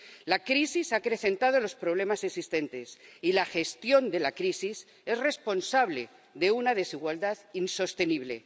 La crisis ha acrecentado los problemas existentes, y la gestión de la crisis es responsable de una desigualdad insostenible.